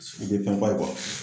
U bɛ fɛn fɔ a ye